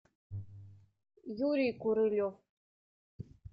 юрий королев